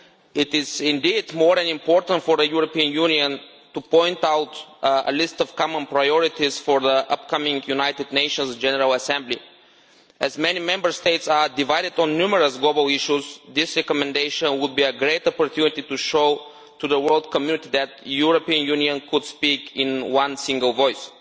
It is indeed more than important for the European Union to point out a list of common priorities for the upcoming United Nations general assembly. As many Member States are divided on numerous global issues, this recommendation would be a great opportunity to show to the world community that the European Union can speak in one single voice.